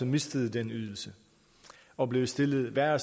mistede den ydelse og blev stillet værre